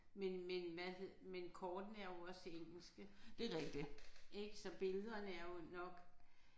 Men men hvad men kortene er jo også engelske ik så billederne er jo nok